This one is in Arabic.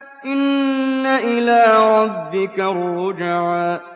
إِنَّ إِلَىٰ رَبِّكَ الرُّجْعَىٰ